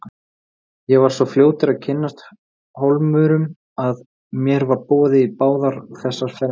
Ég var svo fljótur að kynnast Hólmurum að mér var boðið í báðar þessar fermingarveislur.